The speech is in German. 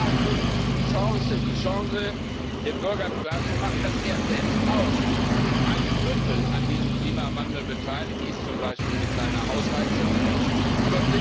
Genau darin liegt die Chance die Chance nämlich, dem Bürger klar zu machen, dass er selbst auch mit einem Drittel an diesem Klimawandel beteiligt ist, zum Beispiel mit seiner Heizung im Haus.